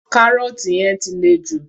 Carrot yẹn ti le jù.